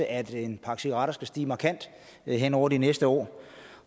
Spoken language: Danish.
at en pakke cigaretter skal stige markant hen over de næste år